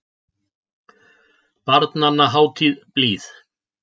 Barnanna hátíð blíð.